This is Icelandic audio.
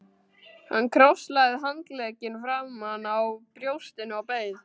Hann krosslagði handleggina framan á brjóstinu og beið.